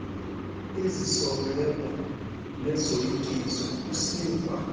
izisongelo nezoyikiso usiva